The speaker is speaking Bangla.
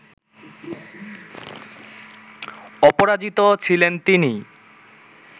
অপরাজিত ছিলেন তিনি